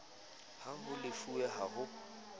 ha ho lefuwe ha ho